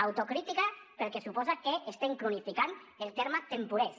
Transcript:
autocrítica pel que suposa que estem cronificant el terme temporers